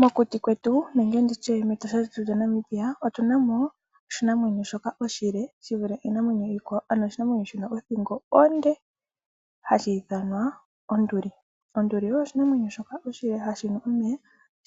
Mokuti kwetu nenge nditye metosha lyetu lyaNamibia otunamo oshinamwenyo shoka oshile shivule iinamwenyo iikwawo ano oshinamwenyo shina othingo onde hashi ithanwa onduli. Onduli oyo oshinamwenyo shoka oshile hashi nu omeya